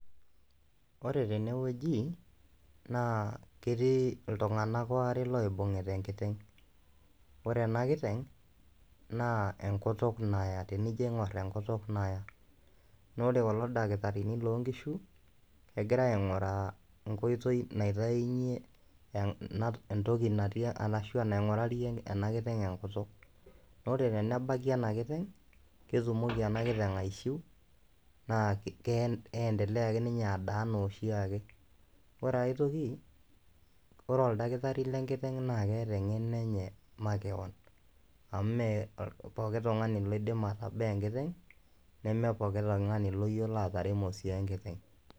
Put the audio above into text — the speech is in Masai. Ore tene wueji naa ketii iltung'anak aare oibung'ita enkiteng', ore ena kiteng' naa enkutuk naya tenijoing'or enkutuk naya naa ore kulo dakitarini loo nkishu egira aing'uraa enkoitoi naitayunye ena entoki natii arashu enaing'urari ena kiteng' enkutuk. Ore tenebaki ena kiteng' netumoki ena kiteng' aishiu naa kitee niendelea ake ninye adaa enaa oshi ake. Ore ake piishiu ore oldakitari lenkiteng' naake eeta eng'eno enye makeon amu mee pooki tung'ani loidim atabaa enkiteng' nemee pookin tung'ani loyiolo ataremo sii enkiteng'.